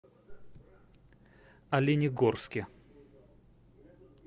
оленегорске